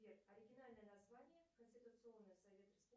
сбер оригинальное название конституционный совет республики